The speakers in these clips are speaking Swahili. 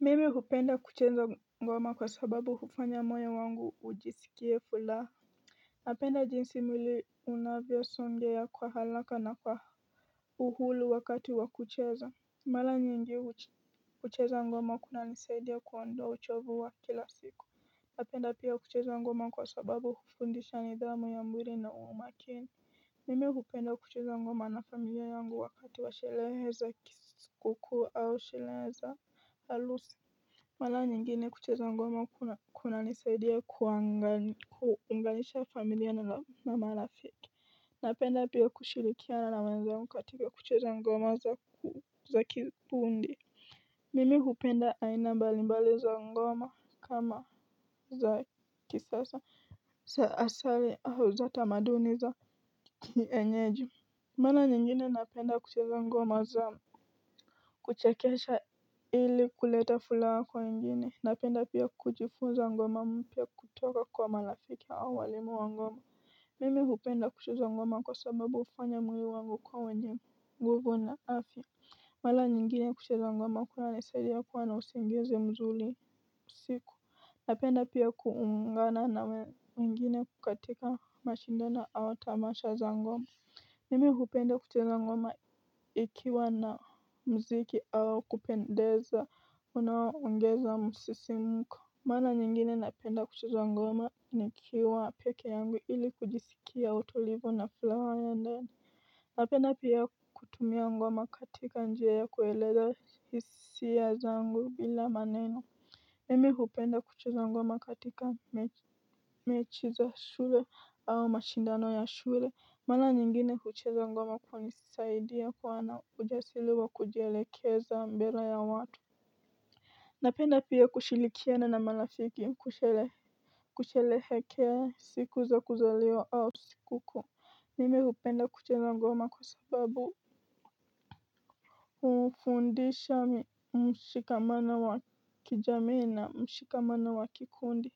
Mimi hupenda kucheza ngoma kwa sababu hufanya moyo wangu ujisikie fulaha. Napenda jinsi mwili unavya songea kwa halaka na kwa uhulu wakati wakucheza. Mala nyingi hucheza ngoma kuna nisedya kuwandoa uchovu wa kila siku. Napenda pia kucheza ngoma kwa sababu hufundisha nidhamu ya muiri na umakini. Mimi hupenda kucheza ngoma na familia yangu wakati wa shelehe za kiskuku au shelehe za halusi. Mala nyingine kucheza ngoma kuna nisadiya kuanganisha familia na mama rafiki. Napenda pia kushirikiana na wenzangu katika kucheza ngoma za kiufundi. Mimi hupenda aina mbalimbali za ngoma kama za kisasa za asari au za tamaduni za kienyeji. Mara nyingine napenda kucheza ngoma za kuchekesha ili kuleta furaha kwa wengine. Napenda pia kujifunza ngoma mpya kutoka kwa marafiki au walimu wangu. Mimi hupenda kucheza ngoma kwa sababu hufanya moyo wangu kuwa wenye nguvu na afya. Mara nyingine kucheza ngoma kuna nisaidia kuwa na usingizi mzuri usiku. Napenda pia kuungana na wengine katika mashindano au tamasha za ngoma. Mimi hupenda kucheza ngoma ikiwa na mziki au kupendeza unao ongeza msisimko. Mara nyingine napenda kucheza ngoma nikiwa peke yangu ili kujisikia utulivu na furaha ya ndani. Napenda pia kutumia ngoma katika njia ya kueleza hisia zangu bila maneno imi hupenda kucheza ngoma katika mechi za shule au mashindano ya shule. Mara nyingine kucheza ngoma kwa nisaidia kuwa na ujasiri wa kujielekeza mbele ya watu. Napenda pia kushirikiana na marafiki kusherehekea siku za kuzaliwa au sikukuu mimi hupenda kucheza ngoma kwa sababu hufundisha mshikamano wa kijamii na mshikamano wa kikundi.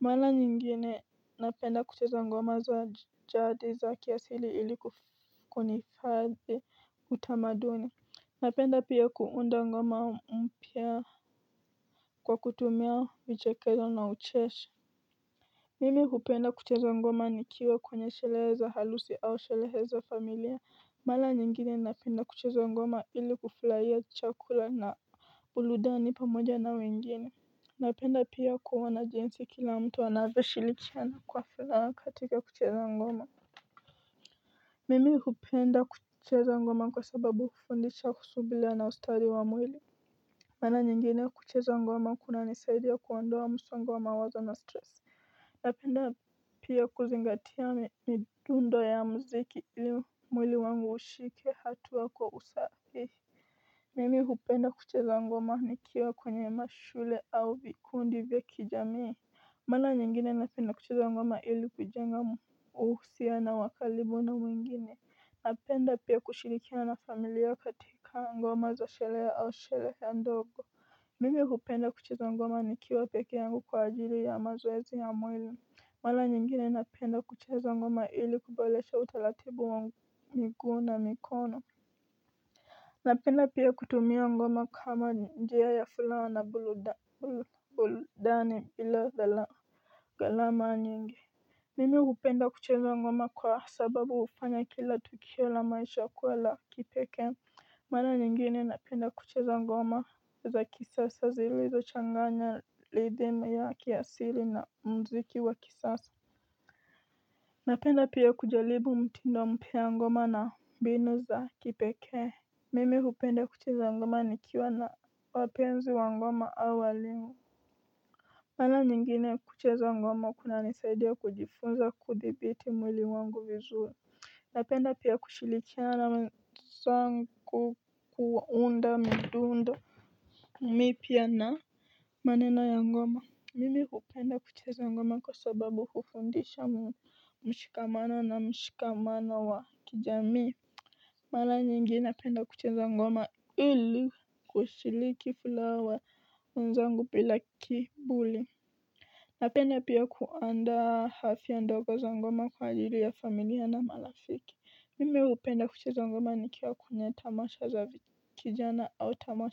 Mara nyingine napenda kucheza ngoma za jadi za kiasili ili kuhifadhi utamaduni. Napenda pia kuunda ngoma mpya kwa kutumia vichekesho na ucheshi. Mimi hupenda kucheza ngoma nikiwa kwenye sherehe za harusi au sherehe za familia. Mara nyingine napenda kucheza ngoma ili kufurahia chakula na burudani pamoja na wengine napenda pia kuona jinsi waru wanashirikian. Mara nyingine kucheza ngoma kuna nisaidia kuondoa msongo wa mawazo na stress. Napenda pia kuzingatia midundo ya mziki ili mwili wangu ushike hatuwa kwa usahihi. Mimi hupenda kucheza ngoma nikiwa kwenye mashule au vikundi vya kijamii. Mara nyingine napenda kucheza ngoma ili kujenga uhusiano wakalibu na mwingine. Napenda pia kushirikia na familia katika nggoma za shele ya a shele ya ndogo. Mimi kupenda kuchizo nggoma ni kiwa peke yangu kwa ajili ya mazwezi ya mwila. Mwala nyingine napenda kuchizo nggoma ili kubelesha utalatibu wa migu na mikono. Napenda pia kutumia ngoma kama njia ya furaha na burudani burudani bila dhala ghalama nyingi. Mimi hupenda kucheza ngoma kwa sababu hufanya kila tukio la maisha kuwa la kipekee. Maana nyingine napenda kucheza ngoma za kisasa zilizo changanya rythm ya kiasili na mziki wa kisasa. Napenda pia kujaribu mtindo mpya wa ngoma na mbinu za kipekee. Mimi hupenda kucheza ngoma nikiwa na wapenzi wa ngoma au walimu. Mara nyingine kucheza ngoma kuna nisaidia kujifunza kudhibiti mwili wangu vizuri. Napenda pia kushirikiana na wenzangu kuunda midundo mipya na maneno ya ngoma, mimi hupenda kucheza ngoma kwa sababu hufundisha mshikamano na mshikamano wa kijamii. Mara nyingine napenda kucheza ngoma ili kushiriki furaha wa wenzangu bila kiburi. Napenda pia kuandaa hafla ndogo za ngoma kwa ajili ya familia na marafiki mimi hupenda kucheza ngoma nikiwa kwenye tamasha za kijana au tamasha.